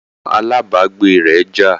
Àwọn alábágbé rẹ̀ jà